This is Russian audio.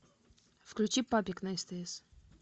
включи папик на стс